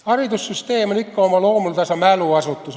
Haridussüsteem on ikka oma loomuldasa mäluasutus.